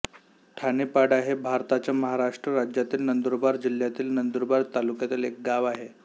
ठाणेपाडा हे भारताच्या महाराष्ट्र राज्यातील नंदुरबार जिल्ह्यातील नंदुरबार तालुक्यातील एक गाव आहे